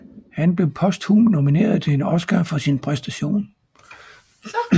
Han blev posthumt nomineret til en Oscar for sin præstation